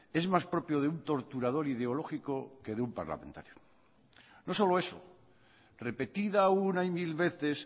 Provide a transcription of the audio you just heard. es más propio de un torturador ideológico que de un parlamentario no solo eso repetida una y mil veces